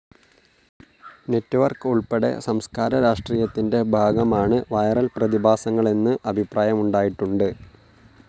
Network ഉൾപ്പെടെ സംസ്കാര രാഷ്ട്രീയത്തിൻ്റെ ഭാഗമാണ് വിരൽ പ്രതിഭാസങ്ങളെന്നു അഭിപ്രായമുണ്ടായിട്ടുണ്ട്.